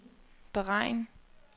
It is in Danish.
beregn